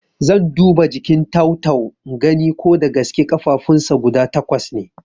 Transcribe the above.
Zan duba jikin tau-tau ingani ko dagaske ƙafafunsa guda takwas ne